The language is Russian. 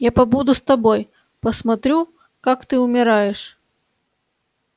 я побуду с тобой посмотрю как ты умираешь